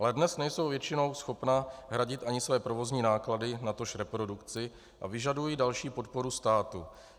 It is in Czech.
Ale dnes nejsou většinou schopna hradit ani své provozní náklady, natož reprodukci, a vyžadují další podporu státu.